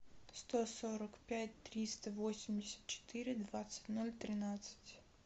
сто сорок пять триста восемьдесят четыре двадцать ноль тринадцать